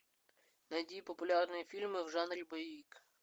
найди популярные фильмы в жанре боевик